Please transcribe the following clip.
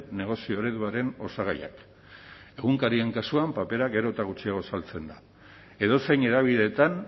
negozio ereduaren osagaiak egunkarien kasuan papera gero eta gutxiago saltzen da edozein hedabideetan